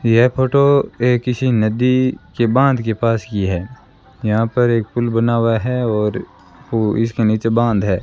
यह फोटो ये किसी नदी के बांध के पास की है यहां पर एक पुल बना हुआ है और इसके नीचे बांध है।